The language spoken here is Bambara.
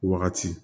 Wagati